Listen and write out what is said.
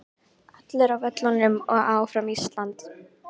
Allir á völlinn og Áfram Ísland.